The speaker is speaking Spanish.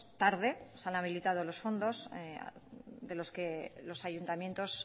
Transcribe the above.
tarde se han habilitado los fondos de los que los ayuntamientos